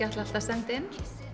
ætlað að senda inn